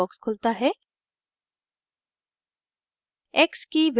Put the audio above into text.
एक dialog box खुलता है